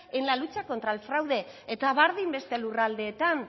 en la lucha contra el fraude eta berdin beste lurraldeetan